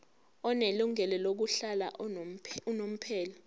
onelungelo lokuhlala unomphela